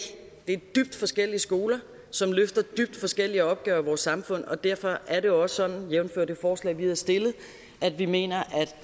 det er dybt forskellige skoler som løfter dybt forskellige opgaver samfund og derfor er det jo også sådan jævnfør det forslag vi havde stillet at vi mener at